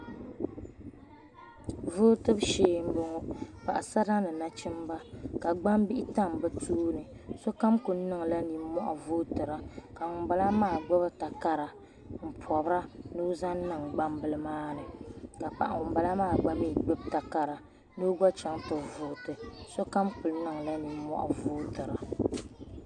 Vootibu shee mboŋɔ Paɣasara ni nachimba ka gbambihi tam bɛ tooni sokam kuli niŋla ninmohi vootira ka ŋunbala maa gbibi takara m pobira ni o zaŋ niŋ gbambila maani ka paɣa ŋunbala maa gba gbibi takara ni o gba chaŋ ti vooti sokam kuli niŋla ninmohi bootira.